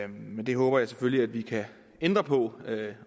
men det håber jeg selvfølgelig at vi kan ændre på